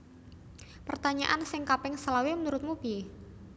Pertanyaan sing kaping selawe menurutmu pie?